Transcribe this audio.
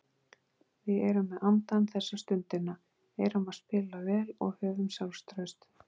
Við erum með andann þessa stundina, erum að spila vel og höfum sjálfstraust.